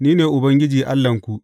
Ni ne Ubangiji Allahnku.